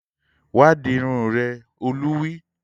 Wá dirun rẹ! Olú wí